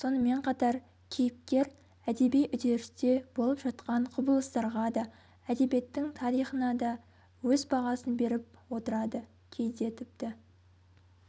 сонымен қатар кейіпкер әдеби үдерісте болып жатқан құбылыстарға да әдебиеттің тарихына да өз бағасын беріп отырады кейде тіпті